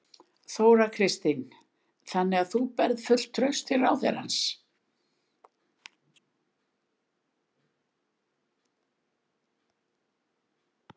Þóra Kristín: Þannig að þú berð fullt traust til ráðherrans?